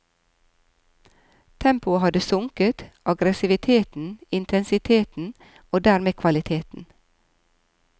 Tempoet hadde sunket, agressiviteten, intensiteten, og dermed kvaliteten.